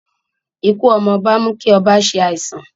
Ikú ọmọ ọba ń mú kí ọba se àìsàn